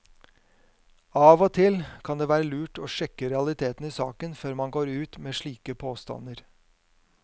Av og til kan det være lurt å sjekke realitetene i saken før man går ut med slike påstander.